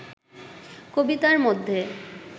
কবিতার মধ্যে